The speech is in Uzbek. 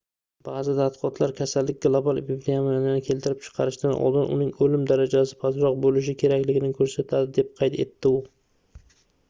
baʼzi tadqiqotlar kasallik global epidemiyani keltirib chiqarishidan oldin uning oʻlim darajasi pastroq boʻlishi kerakligini koʻrsatadi deb qayd etdi u